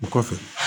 O kɔfɛ